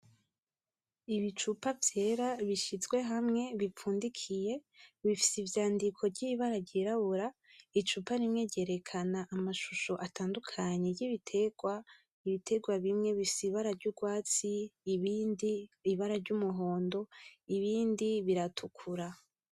Ibicupa vyera bishizwe hamwe bipfundikiye, bifise ivyandiko ry’ ibara ryirabura, icupa rimwe ryerekana amashusho atandukanye ry’ibitegwa. Ibitegwa bimwe bifise ibara ry’urwatsi, ibindi ibara ry’ umuhondo ibindi biratukura.